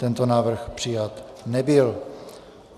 Tento návrh přijat nebyl.